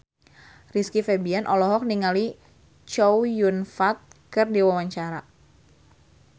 Rizky Febian olohok ningali Chow Yun Fat keur diwawancara